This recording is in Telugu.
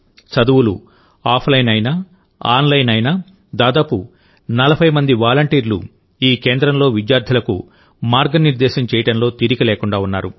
చదువులు ఆఫ్లైన్ అయినా ఆన్లైన్ అయినాదాదాపు 40 మంది వాలంటీర్లు ఈ కేంద్రంలో విద్యార్థులకు మార్గనిర్దేశం చేయడంలో తీరికలేకుండా ఉన్నారు